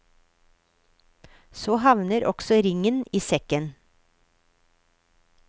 Så havner også ringen i sekken.